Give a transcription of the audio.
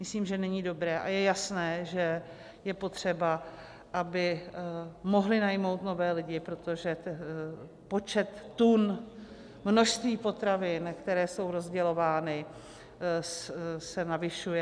Myslím, že není dobré, a je jasné, že je potřeba, aby mohly najmout nové lidi, protože počet tun, množství potravin, které jsou rozdělovány, se navyšuje.